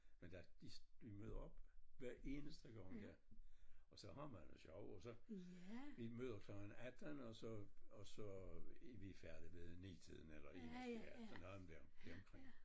Men der de stuver op hver eneste gang her og så har man det sjov og så vi møder klokken 18 og så og så er vi færdige ved en 9 tiden eller 1 ja eller der deromkring